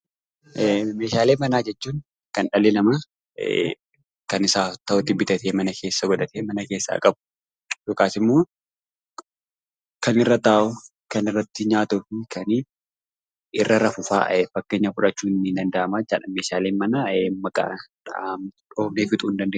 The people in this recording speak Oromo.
Meeshaalee manaa jechuun kan dhalli namaa kan isaaf ta'utti bitatee mana keessa godhatee mana keessaa qabu yookaas ammoo kan irra taa'u, kan irratti nyaatuufi kan inni irra rafufaa fakkeenya fudhachuun nidanda'ama. Meeshaalee manaa maqaa dhoofnee fixuu hindandeenyu.